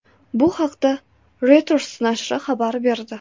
Bu haqda Reuters nashri xabar berdi .